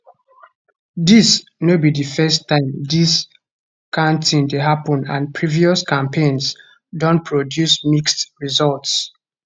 dis no be di first time dis kain tin dey happun and previous campaigns don produce mixed results